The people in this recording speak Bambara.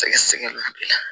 Sɛgɛsɛgɛliw de la